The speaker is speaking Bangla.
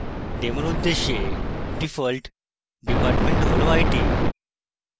demo উদ্দেশ্যে ডিফল্ট department হল it